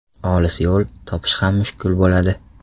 Olis yo‘l, topish ham mushkul bo‘ladi.